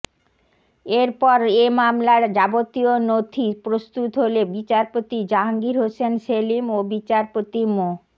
এরপর এ মামলার যাবতীয় নথি প্রস্তুত হলে বিচারপতি জাহাঙ্গীর হোসেন সেলিম ও বিচারপতি মো